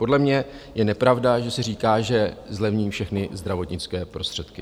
Podle mě je nepravda, že si říká, že zlevní všechny zdravotnické prostředky.